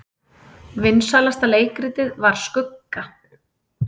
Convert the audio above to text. Vinsælasta leikritið var Skugga